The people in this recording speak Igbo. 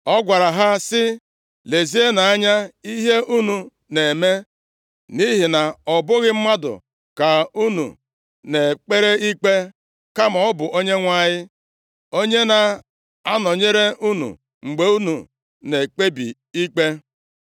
Ọ gwara ha si, “Lezienụ anya ihe unu na-eme nʼihi na ọ bụghị mmadụ ka unu na-ekpere ikpe kama ọ bụ Onyenwe anyị, onye na-anọnyere unu mgbe unu na-ekpebi ikpe.